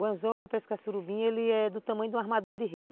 O anzol para pescar surubim ele é do tamanho de um armador de rede.